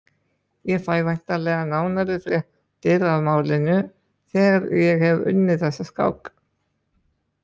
Ég fæ væntanlega nánari fréttir af málinu þegar ég hef unnið þessa skák.